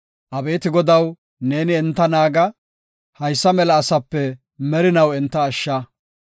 Abeeti Godaw neeni enta naaga; haysa mela asape merinaw enta ashsha.